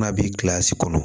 N'a bi gilan si kɔnɔ